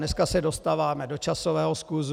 Dneska se dostáváme do časového skluzu.